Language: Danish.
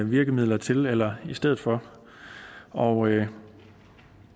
virkemidler til eller i stedet for og